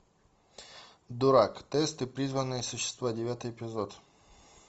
дурак тесты призванные существа девятый эпизод